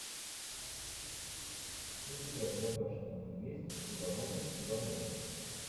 у тебя в загашнике есть ивановы ивановы